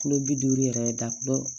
Kulo bi duuru yɛrɛ da kulo